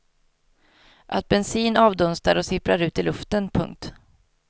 Att bensin avdunstar och sipprar ut i luften. punkt